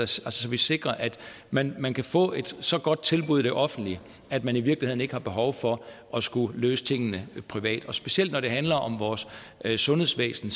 sektor så vi sikrer at man man kan få et så godt tilbud i det offentlige at man i virkeligheden ikke har behov for at skulle løse tingene privat specielt når det handler om vores sundhedsvæsen